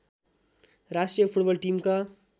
राष्ट्रिय फुटबल टिमका